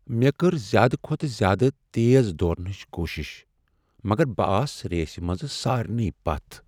مےٚ کٔر زیادٕ کھۄتہٕ زیادٕ تیز دوٗرنٕچ کوٗشش مگر بہٕ آس ریسِہ منٛز سارنٕے پتھ۔